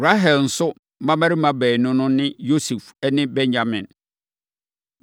Rahel nso mmammarima baanu no ne Yosef ne Benyamin.